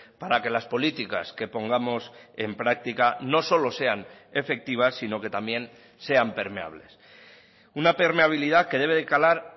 para que las políticas que pongamos en práctica no solo sean efectivas sino que también sean permeables una permeabilidad que debe de calar